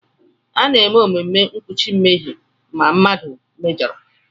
A na-eme omume mkpuchi mmehie ma mmadụ mejọrọ.